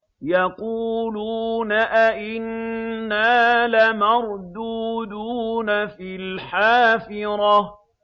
يَقُولُونَ أَإِنَّا لَمَرْدُودُونَ فِي الْحَافِرَةِ